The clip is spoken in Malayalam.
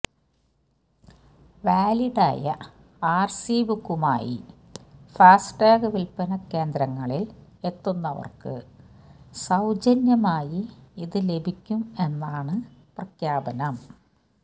വാലിഡായ ആര്സി ബുക്കുമായി ഫാസ്ടാഗ് വിൽപ്പന കേന്ദ്രങ്ങളിൽ എത്തുന്നവര്ക്ക് സൌജന്യമായി ഇത് ലഭ്യമാക്കും എന്നാണ് പ്രഖ്യാപനം